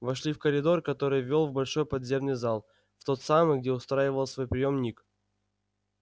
вошли в коридор который вёл в большой подземный зал в тот самый где устраивал свой приём ник